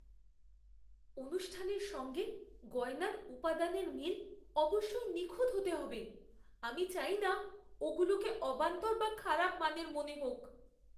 অনুষ্ঠানের সঙ্গে গয়নার উপাদানের মিল অবশ্যই নিখুঁত হতে হবে। আমি চাই না ওগুলোকে অবান্তর বা খারাপ মানের মনে হোক।